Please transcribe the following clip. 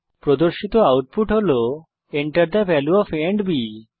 প্রদর্শিত আউটপুট হল Enter the value of a and B